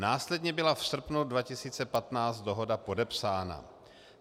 Následně byla v srpnu 2015 dohoda podepsána.